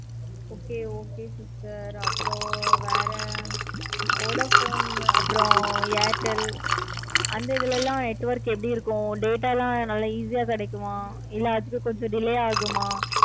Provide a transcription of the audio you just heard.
okay okay sister அப்பறம் வேற vodafone அப்பறம் airtel அந்த இதுல லாம் network எப்படி இருக்கும். data லாம் நல்ல easy ஆஹ் கிடைக்கும். கொஞ்சம் delay ஆகுமா?